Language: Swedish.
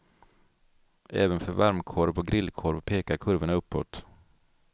Även för varmkorv och grillkorv pekar kurvorna uppåt.